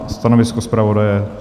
A stanovisko zpravodaje?